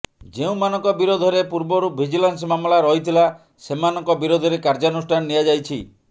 ଯେଉଁମାନଙ୍କ ବିରୋଧରେ ପୂର୍ବରୁ ଭିଜିଲାନ୍ସ ମାମଲା ରହିଥିଲା ସେମାନଙ୍କ ବିରୋଧରେ କାର୍ଯ୍ୟାନୁଷ୍ଠାନ ନିଆଯାଇଛି